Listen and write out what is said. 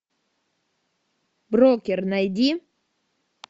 брокер найди